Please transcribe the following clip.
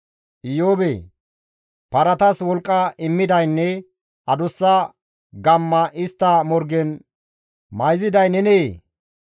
«Iyoobee! Paratas wolqqa immidaynne adussa gamma istta morgen mayziday nenee?